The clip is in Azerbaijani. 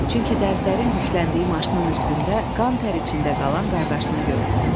Çünki dərzlərin yükləndiyi maşının üstündə qan-tər içində qalan qardaşını gördü.